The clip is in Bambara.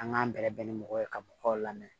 An k'an bɛrɛbɛrɛ ni mɔgɔ ye ka mɔgɔw lamɛn